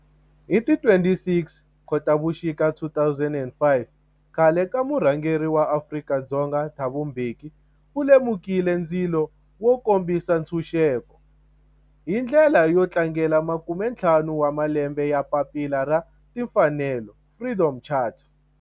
Hi ti 26 Khotavuxika 2005 khale ka murhangeri wa Afrika-Dzonga Thabo Mbeki u lumekile ndzilo wo kombisa ntshuxeko, hi ndlela yo tlangela makume-ntlhanu wa malembe ya papila ra timfanelo, Freedom Charter.